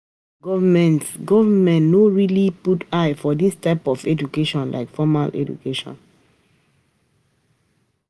Di government government no dey really put eye for this type of education like formal education